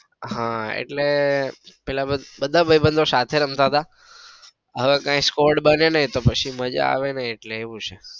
હા એટલે પેલા બધા ભાઈબંધો સાથે રમતા હતા હવે કઈ score બને નઈ એટલે માજા આવે નાઈ એટલે હવે એવું છે.